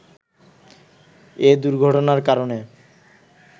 এ দুর্ঘটনার কারণে